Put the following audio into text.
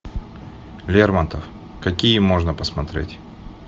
лермонтов какие можно посмотреть